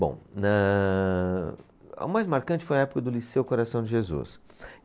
Bom, nãã, a mais marcante foi a época do Liceu Coração de Jesus.